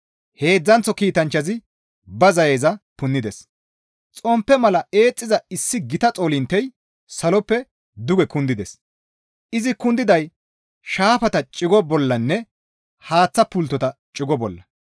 Heedzdzanththo kiitanchchazi ba zayeza punnides; xomppe mala eexxiza issi gita xoolinttey saloppe duge kundides; izi kundiday shaafata cigo bollanne haaththa pulttota cigo bolla.